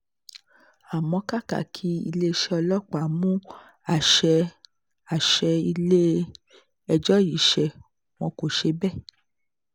àmọ́ kàkà kí iléeṣẹ́ ọlọ́pàá mú àṣẹ àṣẹ ilé-ẹjọ́ yìí ṣe wọ́n kó ṣe bẹ́ẹ̀